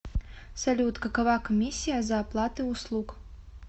салют какова комиссия за оплаты услуг